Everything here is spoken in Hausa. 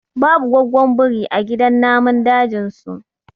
babu gwaggon biri a gidan namun dajin su